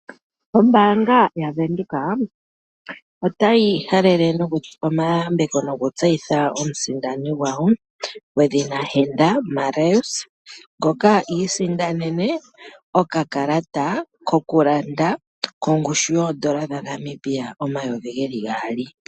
Ombaanga yaVenduka otayi halele nokupa omayambeko nokutseyitha omusindani gwawo gwedhina Henda Marais ngoka a isindanene okakalata kokulanda kongushu yoN$ 2000.00